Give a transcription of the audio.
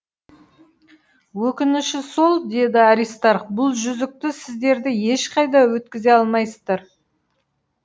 өкініші сол деді аристарх бұл жүзікті сіздер де ешқайда өткізе алмайсыздар